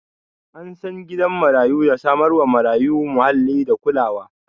An san gidan marayu da samar wa marayu muhalli da kulawa